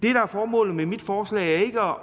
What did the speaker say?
er formålet med mit forslag er ikke at